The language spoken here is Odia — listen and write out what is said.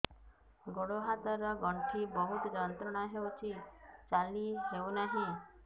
ଗୋଡ଼ ହାତ ର ଗଣ୍ଠି ବହୁତ ଯନ୍ତ୍ରଣା ହଉଛି ଚାଲି ହଉନାହିଁ